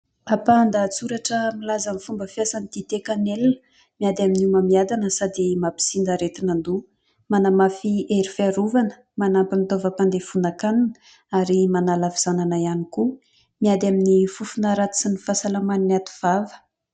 ampaha-ndatsoratra milaza ny fomba fiasan'ny dite kanelina ;miady amin'ny homamiadana sady mampisinda aretin'an-doha manamafy ny hery fiarovana; manampy ny taovam-pandevonan- kanina ary manala havizanana ihany koa miady amin'ny fofona ratsy sy ny fahasalaman'ny ativava